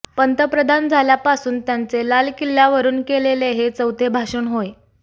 पंतप्रधान झाल्यापासून त्यांचे लाल किल्ल्यावरून केलेले हे चौथे भाषण होय